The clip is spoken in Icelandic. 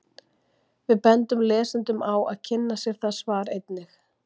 Við bendum lesendum á að kynna sér það svar einnig.